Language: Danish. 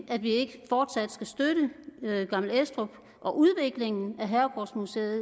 at vi ikke fortsat skal støtte gammel estrup og udviklingen af herregårdsmuseet